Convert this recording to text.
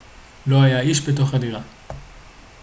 לא היה איש בתוך הדירה